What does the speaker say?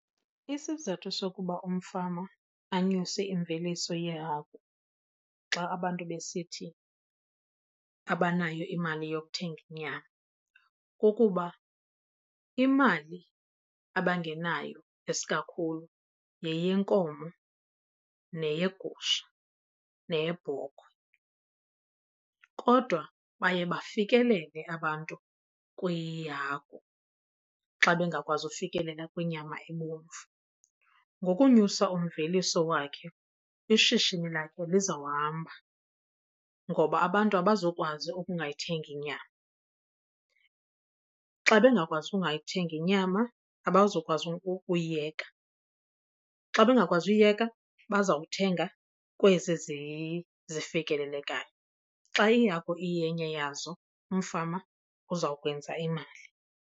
Isizathu sokuba umfama anyuse imveliso yehagu xa abantu besithi abanayo imali yokuthenga inyama kukuba imali abangenayo isikakhulu yeyenkomo neyegusha neyebhokhwe kodwa baye bafikelele abantu kwihagu xa bengakwazi ukufikelela kwinyama ebomvu. Ngokunyusa umveliso wakhe ishishini lakhe lizawuhamba ngoba abantu abazukwazi ukungayithengi nyama. Xa bengakwazi ukungayithengi inyama, abazokwazi uyiyeka. Xa bengakwazi uyiyeka bazawuthenga kwezi zifikelelekayo. Xa ihagu iyenye yazo umfama uzawukwenza imali.